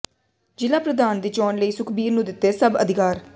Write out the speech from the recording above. ਜ਼ਿਲਾ ਪ੍ਰਧਾਨ ਦੀ ਚੋਣ ਲਈ ਸੁਖਬੀਰ ਨੂੰ ਦਿੱਤੇ ਸਭ ਅਧਿਕਾਰ